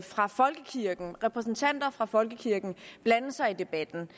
fra folkekirken repræsentanter fra folkekirken blande sig i debatten